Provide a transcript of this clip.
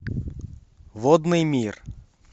водный мир